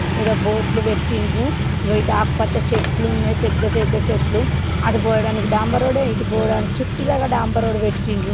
ఈడ బోర్డ్లు పెట్టిండ్రు ఇగో ఇటు ఆకుపచ్ చెట్లు ఉన్నాయి పెద్ద పెద్ద చెట్లు అటు పోవడానికి డాంబర్ రోడ్ ఇటు పోవడానికి చుట్టూ గూడ డాంబర్ రోడ్ పెట్టిండ్రు.